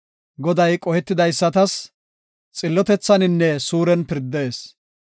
Goday qohetidaysatas xillotethaninne suuren pirdees.